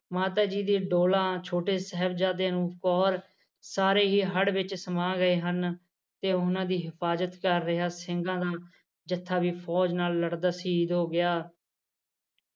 ਮਾਤਾ ਜੀ ਦੇ ਕੋਲਾ ਛੋਟੇ ਸਾਹਿਬਜਾਦੇ ਚਮਕੌਰ ਸਾਰੇ ਹੀ ਹੜ੍ਹ ਵਿੱਚ ਸਮਾਂ ਗਏ ਹਨ ਤੇ ਉਹਨਾਂ ਦੀ ਹਿਫਾਜਤ ਕਰ ਰਿਹਾ ਸਿੰਘਾ ਨਾਲ ਜੱਥਾ ਵੀ ਫੌਜ ਨਾਲ ਲੜਦਾ ਸ਼ਹਿਦ ਹੋ ਗਿਆ